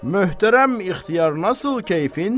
Möhtərəm İxtiyar, nasıl keyfin?